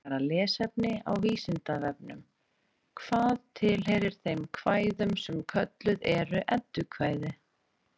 Frekara lesefni á Vísindavefnum: Hvað tilheyrir þeim kvæðum sem kölluð eru eddukvæði?